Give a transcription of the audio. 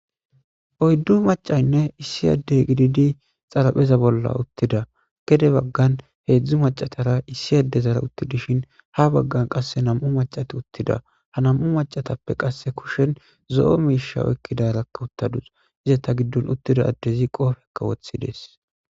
Oyddu macayinne issi adde gididi xaraphpheza bolla uuttida gede baggan hedzdzu macatara issi adetara uttidii dishin ha baggan qasekka nam'u macati uttida ha nam'u macatappe qase kushen zo'o mishsha oykidarakka uutadus izetta giddon uttida addezikka qoppekka woththides